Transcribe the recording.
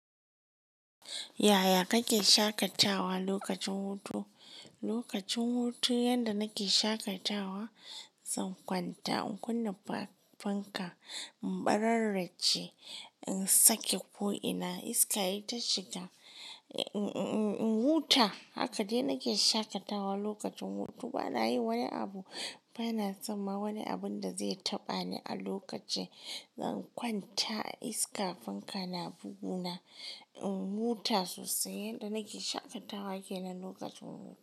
Yaya kake shaƙatawa lokacin hutu? Lokacin hutu yanda nake shaƙatawa, zan kwanta in kunna fanka, in ɓararraje, in sake ko'ina, iska yayi ta shiga, in huta. Haka dai nake shaƙatawa lokacin hutu. Bana yi wani abu. Bana son ma wani abun da zai taɓa ni a lokacin zan kwanta. Iska, fanka na bugu na, in huta sosai. Yanda nake shaƙatawa kenan lokacin hutu.